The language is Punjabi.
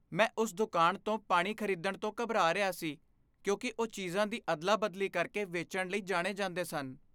ਮੈਂ ਉਸ ਦੁਕਾਨ ਤੋਂ ਪਾਣੀ ਖ਼ਰੀਦਣ ਤੋਂ ਘਬਰਾ ਰਿਹਾ ਸੀ ਕਿਉਂਕਿ ਉਹ ਚੀਜ਼ਾਂ ਦੀ ਅਦਲਾ ਬਦਲੀ ਕਰਕੇ ਵੇਚਣ ਲਈ ਜਾਣੇ ਜਾਂਦੇ ਸਨ